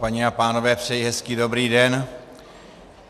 Paní a pánové, přeji hezký dobrý den.